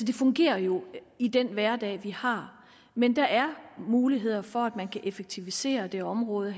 det fungerer jo i den hverdag vi har men der er mulighed for at man kan effektivisere det her område